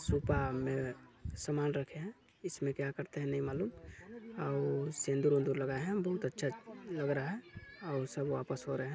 सुपा में समान रखे है इसमें क्या करते है नई मालूम आउ सिन्दूर विन्दुर लगाए है बहुत अच्छा लग रहा है अउ सब वापस हो रहे--